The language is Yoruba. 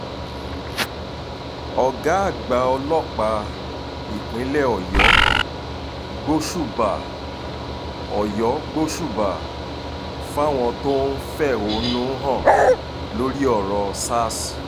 ọ̀gá àgbà ọlọ́pàá ìpínlẹ̀ ọ̀yọ́ gbóṣùbà ọ̀yọ́ gbóṣùbà um fáwọn tó ń fẹ̀hónú um hàn lórí ọ̀rọ̀ sars